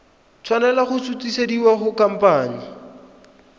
tshwanela go sutisediwa go khamphane